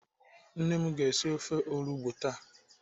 Nne m ga-esi ofe olugbo taa.